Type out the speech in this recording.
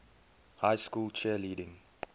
high school cheerleading